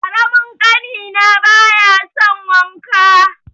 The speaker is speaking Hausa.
Ƙaramin ƙanina baya son wanka.